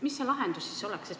Mis see lahendus oleks?